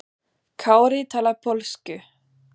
Kári talar pólsku.